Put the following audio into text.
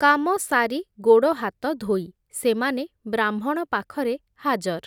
କାମସାରି ଗୋଡ଼ହାତ ଧୋଇ, ସେମାନେ ବ୍ରାହ୍ମଣ ପାଖରେ ହାଜର୍ ।